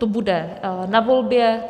To bude na volbě.